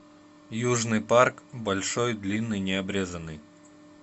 южный парк большой длинный необрезанный